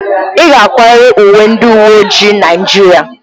Ị ga-akwarịrị uwe ndị uwe ojii Naijiria!